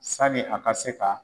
Sani a ka se ka